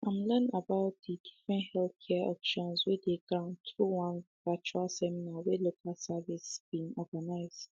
im learn about di different healthcare options wey dey ground through one virtual seminar wey local services bin organize